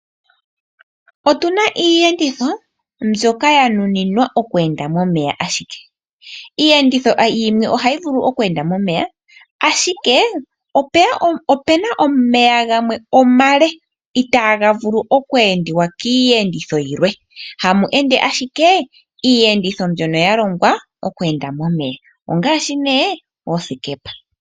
Otuna iiyenditho mbyoka ya nuninwa oku enda momeya ashike. Iiyenditho yimwe ohayi vulu omu enda momeya, ashike opena omeya gamwe omale itaaga vulu omu endiwa kiiyenditho yilwe. Hamu ende ashike iiyenditho mbyono ya longwa oku enda momeya, ongaashi nee oosikepa.